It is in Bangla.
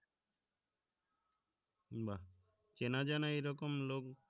বাহ্ চেনা জানা এইরকম লোক